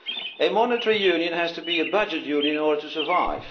A monetary union has to be a budget union in order to survive.